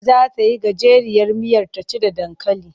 Za ta yi gajeriyar miyar ta ci da dankali.